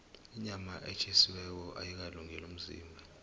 inyama etjhisiweko ayikalungeli umzimba